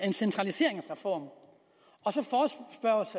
en centraliseringsreform